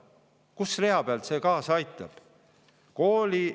Kus rea peal see on, et kaasa aidata?